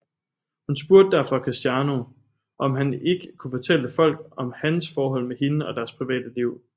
Hun spurgte derfor Cristiano om han ikke kunne fortælle folk om hans forhold med hende og deres private liv